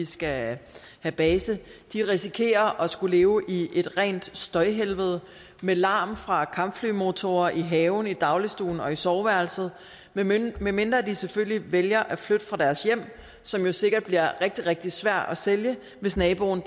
skal have base risikerer at skulle leve i et rent støjhelvede med larm fra kampflymotorer i haven i dagligstuen og i soveværelset medmindre de selvfølgelig vælger at flytte fra deres hjem som jo sikkert bliver rigtig rigtig svært at sælge hvis naboen